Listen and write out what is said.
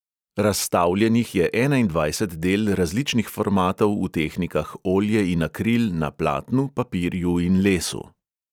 Razstavljenih je enaindvajset del različnih formatov v tehnikah olje in akril na platnu, papirju in lesu.